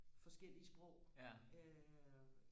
forskellige sprog øh